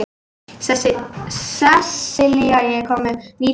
Sessilía, ég kom með níutíu húfur!